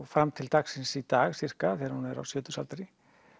fram til dagsins í dag þegar hún er á sjötugsaldri